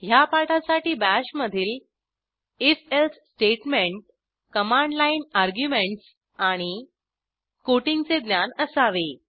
ह्या पाठासाठी बाश मधील if else statement command line arguments आणि कोटिंग चे ज्ञान असावे